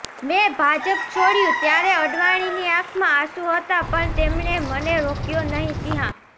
મેં ભાજપ છોડ્યું ત્યારે અડવાણીની આંખમાં આંસુ હતા પણ તેમણે મને રોક્્યો નહીંઃ સિંહા